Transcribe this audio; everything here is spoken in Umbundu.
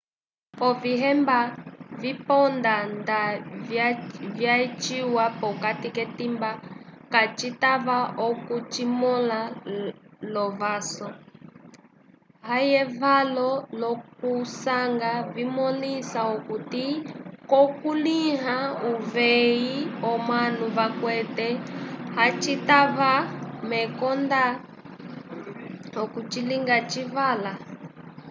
ovihemba viponda nda vyaciwa pokati k'etimba kacitava okucimõla l'ovaso ayevalo l'okusanja vimõlisa okuti k'okukulĩha uveyi omanu vakwete hacitava mekonda okucilinga civala